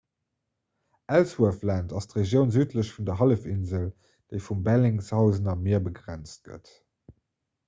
ellsworth land ass d'regioun südlech vun der hallefinsel déi vum bellingshausener mier begrenzt gëtt